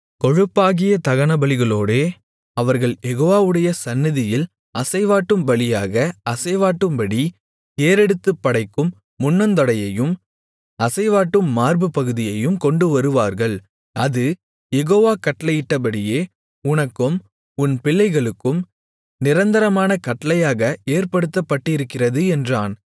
கொழுப்பாகிய தகனபலிகளோடே அவர்கள் யெகோவாவுடைய சந்நிதியில் அசைவாட்டும் பலியாக அசைவாட்டும்படி ஏறெடுத்துப் படைக்கும் முன்னந்தொடையையும் அசைவாட்டும் மார்புப்பகுதியையும் கொண்டுவருவார்கள் அது யெகோவா கட்டளையிட்டபடியே உனக்கும் உன் பிள்ளைகளுக்கும் நிரந்தரமான கட்டளையாக ஏற்படுத்தப்பட்டிருக்கிறது என்றான்